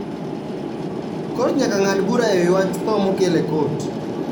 kot nyaka ngad bura ewi wach tho mokel e kot